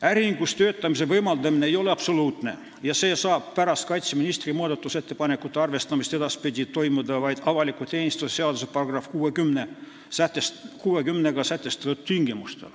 Äriühingus töötamise võimaldamine ei ole absoluutne ja see saab pärast kaitseministri muudatusettepanekute arvestamist edaspidi toimuda vaid avaliku teenistuse seaduse §-s 60 sätestatud tingimustel.